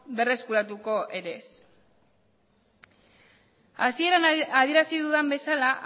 berreskuratuko ere ez hasieran adierazi dudan bezala